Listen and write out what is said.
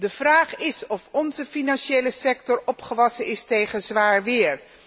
De vraag is of onze financiële sector opgewassen is tegen zwaar weer.